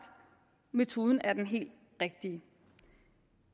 metoden er den helt rigtige